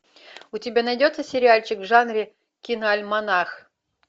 у тебя найдется сериальчик в жанре киноальманах